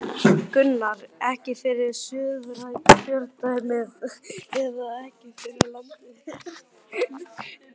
Gunnar: Ekki fyrir Suðurkjördæmi eða ekki fyrir landið í heild?